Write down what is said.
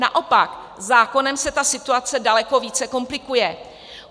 Naopak, zákonem se ta situace daleko více komplikuje.